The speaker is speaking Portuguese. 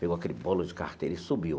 Pegou aquele bolo de carteira e subiu.